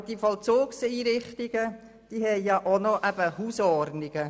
Aber die Vollzugseinrichtungen haben auch noch Hausordnungen.